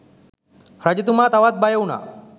රජතුමා තවත් බයවුනා